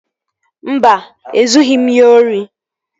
Mba, ezughị m ya ori